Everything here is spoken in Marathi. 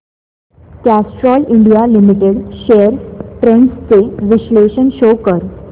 Castrol India limited shares trends चे विश्लेषण शो कर